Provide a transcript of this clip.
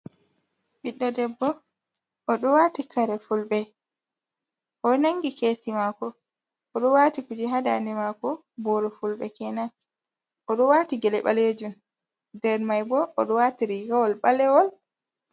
Ɓiɗɗo debbo oɗo wati kare fulɓe, o'nangi kesi mako, oɗo wati kuje ha daande mako boro fulɓe kenan, oɗo wati gele ɓalejum. Nder mai bo, oɗo wati rigawol ɓalewol.